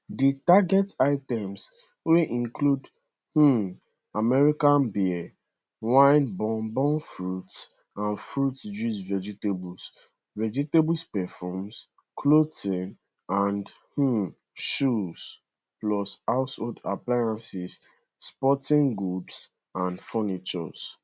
di target items wey include um american beer wine bourbon fruits and fruit juices vegetables vegetables perfumes clothing and um shoes plus household appliances sporting goods and furniture